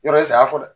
Yɔrɔ saya fɔ dɛ